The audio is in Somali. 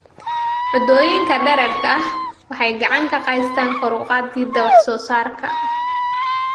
Cuntooyinka dheeraadka ah waxay gacan ka geystaan ​​kor u qaadida wax soo saarka.